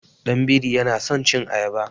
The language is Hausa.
Ɗan biri yana san cin ayaba.